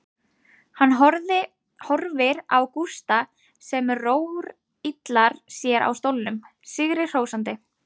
Hann horfir á Gústa sem rórillar sér á stólnum, sigri hrósandi.